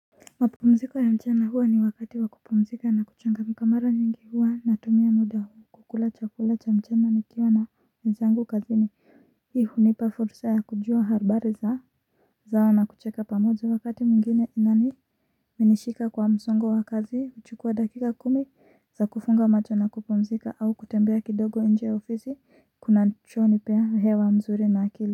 Mapumziko ya mchana huwa ni wakati wakupumzika na kuchangamka mara nyingi huwa natumia muda huu kukula chakula cha mchana nikiwa na wezangu kazini hunipa fursa ya kujua habari za zao na kucheka pamoja wakati mwingine pia nimeshika kwa msongo wakazi mchukua dakika kumi za kufunga macho na kupumzika au kutembea kidogo nje ofisi kunacho hunipea vyao nzuri na akili.